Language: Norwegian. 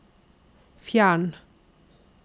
fjern